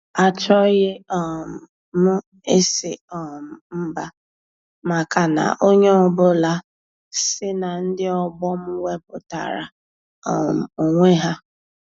Achọghị um m ịsị um mba maka na onye ọ bụla si na ndị ọgbọ m wepụtara um onwe ha.